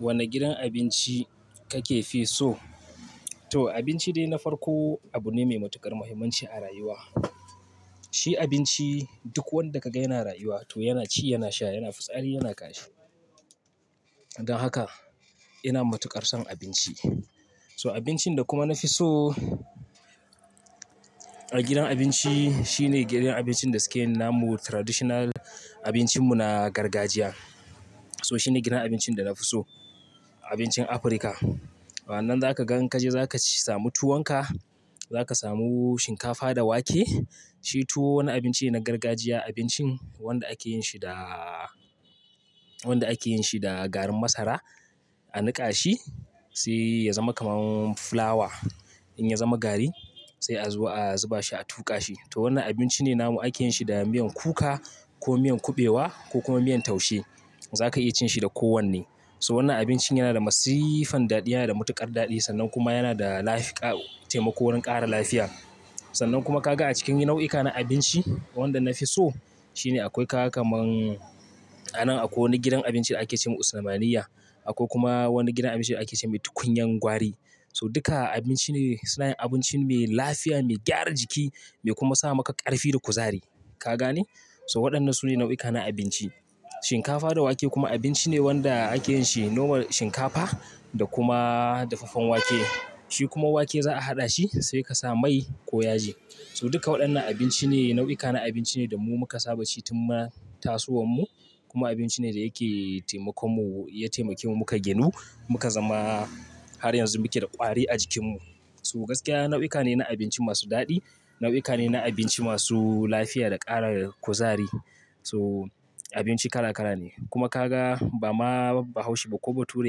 Wane gidan abinci kake fi so? To abinci dai na farko abu ne mai matuƙar muhimmanci a rayuwa. Shi abinci duk wanda ka ga yana rayuwa to yana ci, yana sha, yana fitsari yana kashi. Dan haka ina matuƙar son abinci. So abincin da kuma na fi so a gidan abinci shine gidan abincin da sukeyin namu traditional abincin mu na gargajiya. So shine gidan abincin da na fi so. Abincin Afrika. Wannan za ka ga in kaje za ka samu tuwon ka, za ka samu shinkafa da wake. Shi tuwo wani abinci ne na gargajiya. Abincin wanda ake yin shi da, wanda ake yin shi da garin masara a niƙa shi sai ya zama kaman fulawa. In ya zama gari sai a zo a zuba shi a tuƙa shi. To wannan abinci ne namu ake yin shi da miyan kuka ko miyan kuɓewa ko kuma miyan taushe. Za ka iya cin shi da kowanne. So wannan abincin yana da masifan daɗi, yana da matuƙar daɗi sannan kuma yana da lafika-- taimako wurin ƙara lafiya. Sannan kuma ka ga a cikin nau'ika na abinci wanda na fi so shine akwai ka ga kaman a nan akwai wani gidan abinci da ake ce ma Usamaniya. Akwai kuma wani gidan abinci da ake ce mai tukunyan gwari. So duka abinci ne suna yin abinci mai lafiya, mai gyara jiki mai kuma sa maka ƙarfi da kuzari. Ka gane? So waɗannan su ne nau'ika na abinci. Shinkafa da wake kuma abinci ne wanda ake yin shi nomal shinkafa da kuma dafaffen wake. Shi kuma wake za a haɗa shi sai ka sa mai ko yaji. So duka waɗannan abinci ne nau'ika na abinci ne da mu muka saba ci tun ma tasowan mu. Kuma abinci ne da yake taimakon mu, ya taimake mu muka ginu muka zama har yanzu muke da ƙwari a jikin mu. So gaskiya nau'uka ne na abinci masu daɗi. Nau'ika ne na abinci masu lafiya da ƙara kuzari. So abinci kala kala ne. Kuma ka ga ba ma bahaushe ba ko bature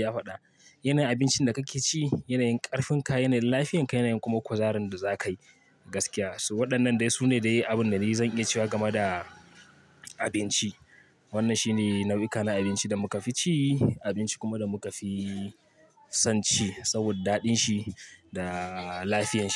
ya faɗa. Yana yin abincin da kake ci, yana yin ƙarfin ka, yana yin lafiyar ka yana yin kuma kuzarin da za ka yi gaskiya. So waɗannan dai su ne dai abun da zan iya cewa game da abinci. Wannan shi ne nau'ika na abinci da muka fi ci. Abinci kuma da muka fi son ci saboda daɗin shi da lafiyan shi.